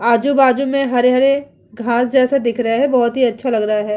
आजू-बाजू में हरे-हरे घास जैसे दिख रहे हैं बोहोत ही अच्छा लग रहा है।